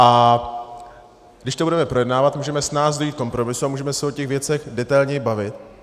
A když to budeme projednávat, můžeme snáz dojít ke kompromisu a můžeme se o těch věcech detailně bavit.